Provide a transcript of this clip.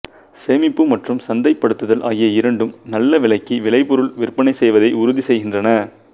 சேமிப்பு மற்றும் சந்தைப் படுத்துதல் ஆகிய இரண்டும் நல்ல விலைக்கு விலைபொருள் விற்பனை செய்வதை உறுதி செய்கின்றன